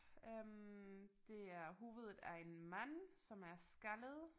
Øh det er hovedet af en mand som er skaldet